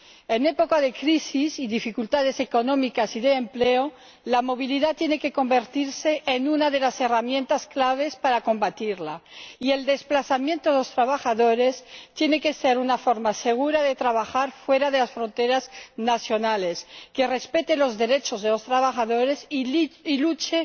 En época de crisis y dificultades económicas y de empleo, la movilidad tiene que convertirse en una de las herramientas clave para combatirlas, y el desplazamiento de los trabajadores tiene que ser una forma segura de trabajar fuera de las fronteras nacionales que respete los derechos de los trabajadores y luche